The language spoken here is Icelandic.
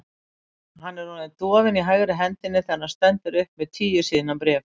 Hann er orðinn dofinn í hægri hendinni þegar hann stendur upp með tíu síðna bréf.